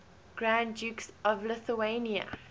grand dukes of lithuania